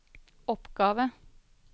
oppgave